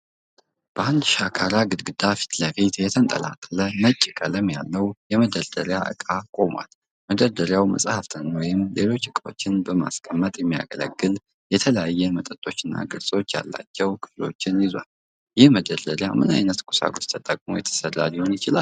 በአንድ ሻካራ ግድግዳ ፊት ለፊት የተንጣለለ ነጭ ቀለም ያለው የመደርደሪያ ዕቃ ቆሟል። መደርደሪያው መጽሐፍትን ወይም ሌሎች ዕቃዎችን ለማስቀመጥ የሚያገለግሉ የተለያዩ መጠኖችና ቅርጾች ያላቸው ክፍሎችን ይዟል፤ ይህ መደርደሪያ ምን ዓይነት ቁሳቁስ ተጠቅሞ የተሰራ ሊሆን ይችላል?